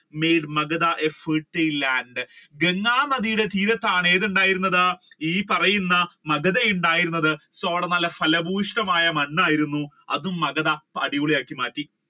made Maghda a fertile land Ganga നദിയുടെ തീരത്താണ് എന്തുണ്ടായത് ഈ പറയുന്ന മഗധ ഉണ്ടായിരുന്നത് അതുകൊണ്ട് ഫലഭൂഷ്ടമായ മണ്ണായിരുന്നു അത് മഗധയെ അടിപൊളി ആക്കി മാറ്റി